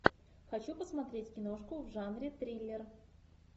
хочу посмотреть киношку в жанре триллер